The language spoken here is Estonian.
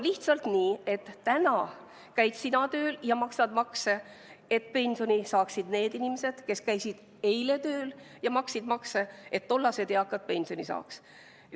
Lihtsalt on nii, et täna käid sina tööl ja maksad makse, et pensioni saaksid need inimesed, kes käisid eile tööl ja maksid makse, et tollased eakad pensioni saaks.